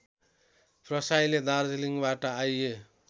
प्रसाईले दार्जलिङबाट आइए